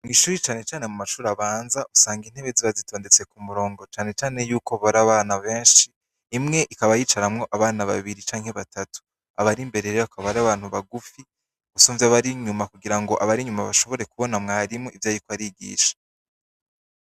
Mw'ishure cane cane mu mashure abanza, usanga intebe ziba zitondetse kumurongo, cane cane ko usanga ar'abana benshi, imwe ikaba yicaramwo abana babiri canke batatu. Abari imbere rero bakaba ari abantu bugufi gusumvya abari inyuma kugira ngo abari inyuma bashobore kubona mwarimu ivyo ariko arigisha.